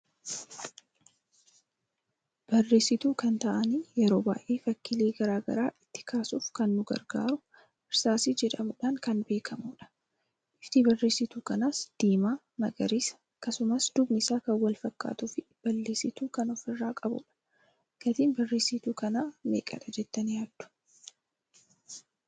Barreesitu kan ta'an yeroo baay'ee fakkiilee garaagaraa ittin kaasuuf kan nu gargaaruu hirsaasii jedhamuudhan kan beekamudha. Bifti barreesituu kanas, diima, magariisa, akkasumas dubni isaa kan wal fakkatuu fi ballesssitu kan ofirra qabudha. Gatiin barreesitu kana meeqadha jettani yaaddu?